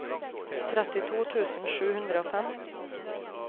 trettito tusen sju hundre og fem